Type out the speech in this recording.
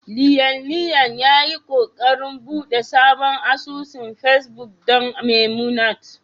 Lianlian yayi alkawarin bude sabon asusun Facebook don Memunant